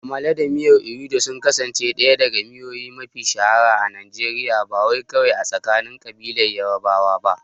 Amala da miyar ewedu sun kasance ɗaya daga miyoyi mafiya shahara a Najeriya, ba kawai a tsakanin ƙabilar Yarbawa ba.